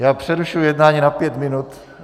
Já přerušuji jednání na pět minut.